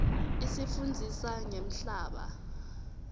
isifundzisa ngemhlaba